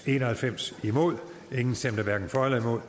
en og halvfems hverken for eller imod